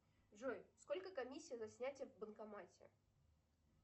джой сколько комиссия за снятие в банкомате